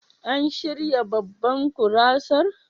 An shirya babban gurasar?